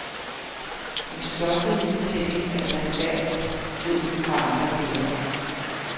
Men stoffet i fortællingen er sandfærdigt, ved vi fra andre kilder.